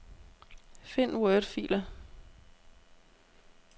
Find wordfiler.